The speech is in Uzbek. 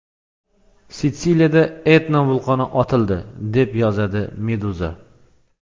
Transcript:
Sitsiliyada Etna vulqoni otildi, deb yozadi Meduza.